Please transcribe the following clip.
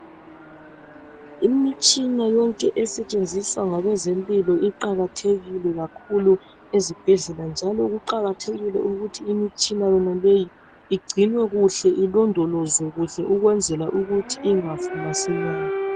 Imitshina yonke esetshenziswa ngabezempilo iqakathekile kakhulu ezibhedlela njalo kuqakathekile ukuthi imitshina yoneleyi igcinwe kuhle ilondolozwe kuhle ukwenzela ukuthi ingafi masinyane.